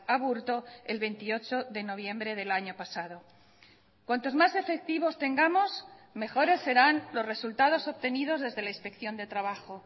aburto el veintiocho de noviembre del año pasado cuantos más efectivos tengamos mejores serán los resultados obtenidos desde la inspección de trabajo